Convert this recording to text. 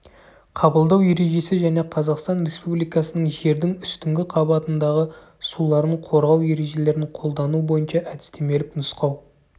қабылдау ережесі және қазақстан республикасының жердің үстіңгі қабатындағы суларын қорғау ережелерін қолдану бойынша әдістемелік нұсқау